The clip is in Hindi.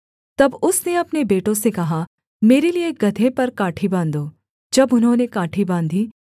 तब उसने अपने बेटों से कहा मेरे लिये गदहे पर काठी बाँधो जब उन्होंने काठी बाँधी